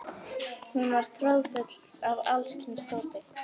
Hún var troðfull af alls kyns dóti.